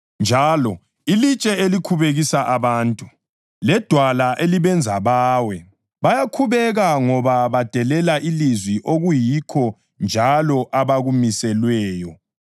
njalo, “Ilitshe elikhubekisa abantu ledwala elibenza bawe.” + 2.8 U-Isaya 8.14 Bayakhubeka ngoba badelela ilizwi okuyikho njalo abakumiselweyo.